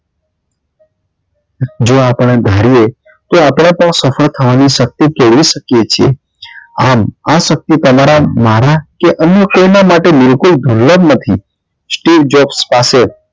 જે આપડે ધાર્યું તે આપડા પર સફળ કરવા ની શક્તિ મેળવી શકીએ આમ આ શક્તિ તમારા મારા કે અન્ય કોઈ ના માટે બિલકુલ નથી